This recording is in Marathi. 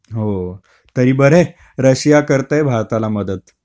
हो. तरी बरं आहे रशिया करतंय भारताला मदत.